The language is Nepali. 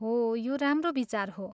हो, यो राम्रो विचार हो।